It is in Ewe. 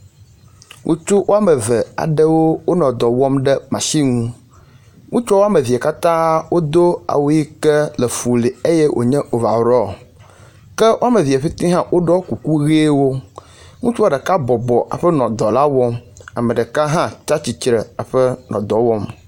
Ŋutsu womeve wonɔ dɔ wom ɖe machine nu, ŋutsua womevee katã wodo awu yi ke le fuli wonye overall ke womeve pete hã wo ɖɔ kuku ʋiwo, ŋutsua ɖeka bɔbɔ eƒe nɔ dɔ la wɔm eye ame ɛeka hã tsi tsitre